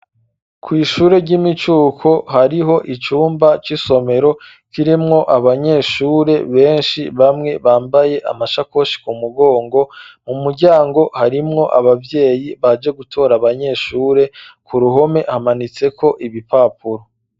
Kw'ishure ry'imicuko hariho icumba c'isomero kirimwo abanyeshure benshi bamwe bambaye amashakoshi ku mugongo, mu muryango harimwo abavyeyi baje gutora abanyeshure ku ruhome hamanitseko ibipapuro.